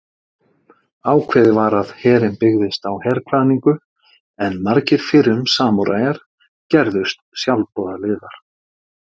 Ákveðið var að herinn byggðist á herkvaðningu en margir fyrrum samúræjar gerðust sjálfboðaliðar.